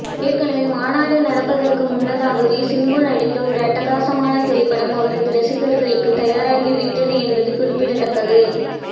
எனவே மாநாடு நடப்பதற்கு முன்னதாகவே சிம்பு நடித்த ஒரு அட்டகாசமான திரைப்படம் அவரது ரசிகர்களுக்கு தயாராகி விட்டது என்பது குறிப்பிடத்தக்கது